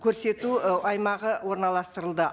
көрсету ы аймағы орналастырылды